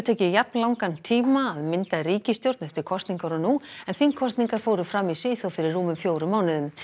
tekið jafn langan tíma að mynda ríkisstjórn eftir kosningar og nú en þingkosningar fóru fram í Svíþjóð fyrir rúmum fjórum mánuðum